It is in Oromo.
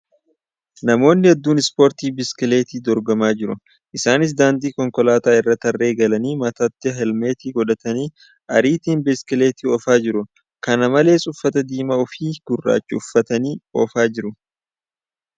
Namoonni hedduun ispoortii biskileeti dorgomaa jiru . Isaaniis daandii konkolaataa irra tarree galanii mataatti heelmeetii godhatanii ariitiin biskileetii oofaa jiru. Kana malees, uffata diimaa fi gurrachaa uffatanii oofaa jiru .